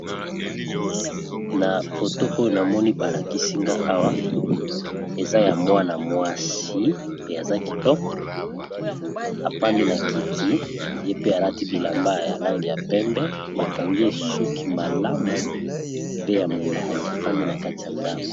Na foto oyo namoni balakisinga awa eza ya mwa na mwasi pe aza kitoko afandi na kiti ye pe alati bilamba ya lange ya pembe bakangi esuki malamu pe ya molai afandi na kati ya ndako.